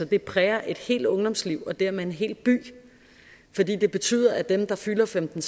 det præger et helt ungdomsliv og dermed en hel by fordi det betyder at dem der fylder femten